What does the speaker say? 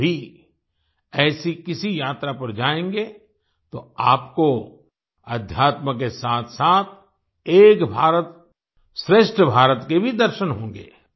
आप भी ऐसी किसी यात्रा पर जाएंगे तो आपको आध्यात्म के साथसाथ एक भारतश्रेष्ठ भारत के भी दर्शन होंगे